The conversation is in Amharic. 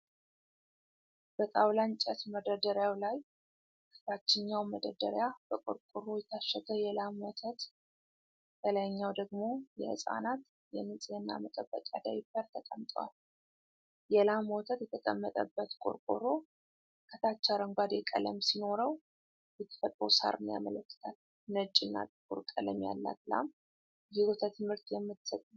በጣዉላ እንጭት መደርደሪያዉ ላይ ከታችኛዉ መደርደሪያ በቆርቆሮ የታሸገ የላም ወተት፣ ከላይኛዉ ደግሞ የህፃናት የንፅህና መጠበቂያ ዳይፐር ጠቀምጠዋል። የላም ወተት የተቀመጠበት ቆርቆሮ ከታች አረንጓዴ ቀለም ሲኖረዉ የተፈጥሮ ሳርን ያመለክታል። ነጭና ጥቁር ቀለም ያላት ላም የወተት ምርት የምትሰጥ ናት።